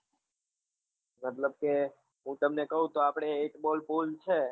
મતલબ કે હું તમને કહું તો આપડે એક ball pull છે